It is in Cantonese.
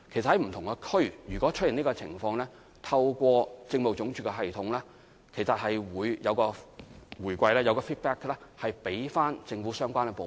當不同地區出現這種情況，透過民政事務總署的系統，其實是會有反饋給予政府的相關部門。